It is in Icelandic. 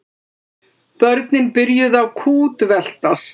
Börnin byrjuðu að kútveltast.